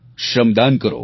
શ્રમદાન કરો